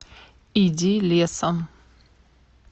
иди лесом